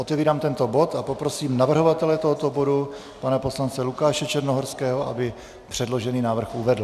Otevírám tento bod a prosím navrhovatele tohoto bodu pana poslance Lukáše Černohorského, aby předložený návrh uvedl.